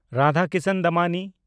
Radhakishan Damani